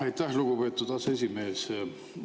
Aitäh, lugupeetud aseesimees!